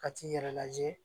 Ka t'i yɛrɛ lajɛ